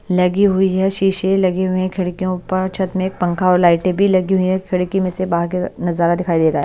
लगी हुई है शीशे लगे हुए हैं खिड़कियों पर छत में एक पंखा और लाइटें भी लगी हुई है खिड़की में से बाहर के नजारा दिखाई दे रहा है।